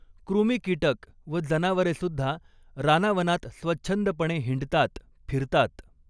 कृमीकीटक व जनावरे सुद्धा रानावनात स्वच्छंदपणे हिंडतात, फिरतात